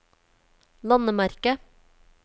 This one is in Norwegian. landemerke